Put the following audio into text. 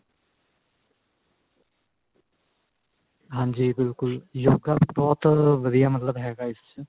ਹਾਂਜੀ ਬਿਲਕੁਲ yoga ਵੀ ਬਹੁਤ ਵਧੀਆ ਮਤਲਬ ਹੈਗਾ ਇਸ ਚ ਈ